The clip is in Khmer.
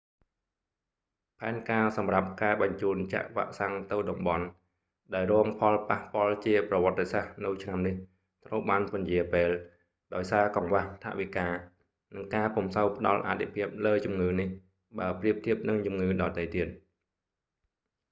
ផែនការសម្រាប់ការបញ្ជូនចាក់វ៉ាក់សាំងទៅតំបន់ ដែលរងផលប៉ះពាល់ជាប្រវត្តិសាស្ត្រនៅឆ្នាំនេះត្រូវបានពន្យារពេល ដោយសារកង្វះថវិកា និងការពុំសូវផ្តល់អាទិភាពលើជំងឺនេះ បើប្រៀបធៀបនឹងជំងឺដទៃទៀត